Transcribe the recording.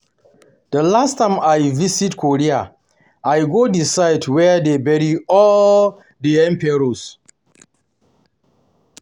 The last time I visit Korea I go the site where dey bury all their Emperors